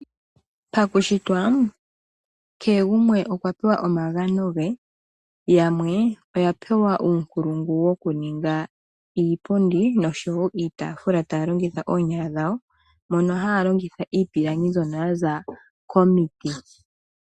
Pakushitwa kehe gumwe okwa pewa omagano ge, yamwe oya pewa uunkulungu wokuninga iipundi nosho wo iitafula taya longitha oonyala dhawo moka haya longitha iipilangi mbyoka ya za komiti.